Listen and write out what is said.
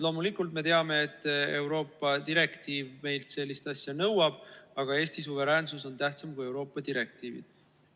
Loomulikult me teame, et Euroopa direktiiv meilt sellist asja nõuab, aga Eesti suveräänsus on tähtsam kui Euroopa direktiivid.